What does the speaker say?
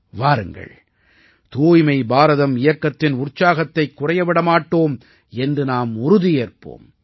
வாருங்கள் தூய்மை பாரதம் இயக்கத்தின் உற்சாகத்தை குறைய விட மாட்டோம் என்று நாம் உறுதியேற்போம்